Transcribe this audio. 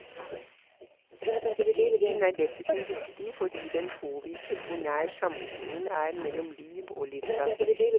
Boken er dessuten viktig fordi den påviser hvor nær sammenhengen er mellom liv og litteratur.